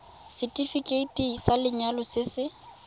setefikeiti sa lenyalo se se